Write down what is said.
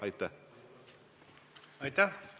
Aitäh!